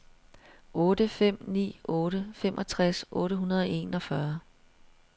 otte fem ni otte femogtres otte hundrede og enogfyrre